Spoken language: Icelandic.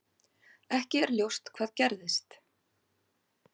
Ekki er ljóst hvað gerðist.